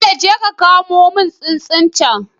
Bello jeka ka kamo mun tsuntsun cen